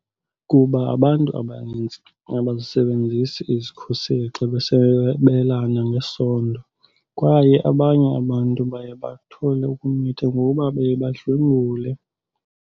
Kuba abantu abanintsi abazisebenzisi izikhuseli xa besabelana ngesondo kwaye abanye abantu baye bathole ukumitha ngoba baye badlwengulwe.